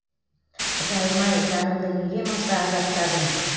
құдайым ай жанымды неге мұнша азаптадың